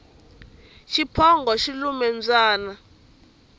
xiphongo xi lumile mbyana